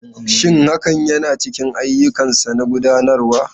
Shin hakan yana cikin ayyukansa na gudanarwa?